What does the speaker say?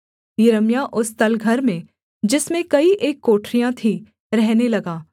यिर्मयाह उस तलघर में जिसमें कई एक कोठरियाँ थीं रहने लगा